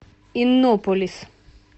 иннополис